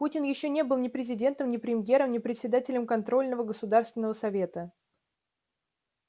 путин ещё не был ни президентом ни премьером ни председателем контрольного государственного совета